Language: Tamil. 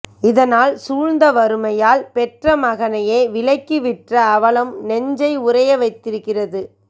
இதனால் சூழந்த வறுமையால் பெற்ற மகனையே விலைக்கு விற்ற அவலம் நெஞ்சை உறைய வைத்திருக்கிறது